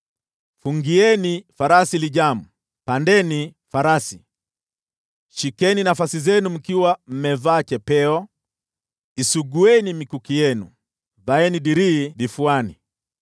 Fungieni farasi lijamu, pandeni farasi! Shikeni nafasi zenu mkiwa mmevaa chapeo! Isugueni mikuki yenu, vaeni dirii vifuani!